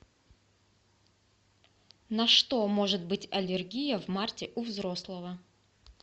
на что может быть аллергия в марте у взрослого